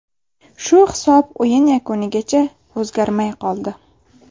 Shu hisob o‘yin yakunigacha o‘zgarmay qoldi.